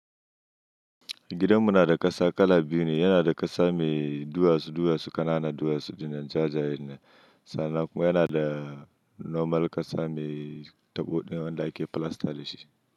Gidanmu na da ƙasa kala biyu ne. Yana da ƙasa mai duwatsu duwatsu ƙanana duwatsu da jajayen na sana. Kuma yana da normal ƙasa mai taɓo ɗayan da ake filasta dashi.